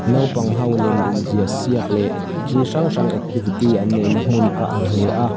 naupang ho lem inziak siak leh thil hrang hrang activity an neih na hmun a ang hle a.